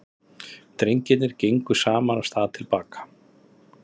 Drengirnir gengu saman af stað til baka.